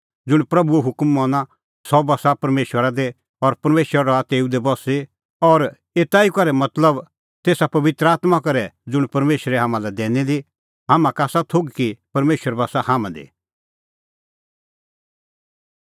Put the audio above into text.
ज़ुंण प्रभूओ हुकम मना सह बस्सा परमेशरा दी और परमेशर रहा तेऊ दी बस्सी और एता ई करै मतलब तेसा पबित्र आत्मां करै ज़ुंण परमेशरै हाम्हां लै आसा दैनी दी हाम्हां का आसा थोघ कि परमेशर बस्सा हाम्हां दी